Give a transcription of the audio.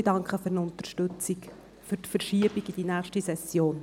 Ich danke für die Unterstützung für die Verschiebung auf die nächste Session.